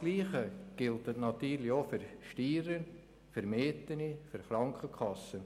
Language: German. Dasselbe gilt natürlich auch für Steuern, Mieten und Krankenkassenprämien.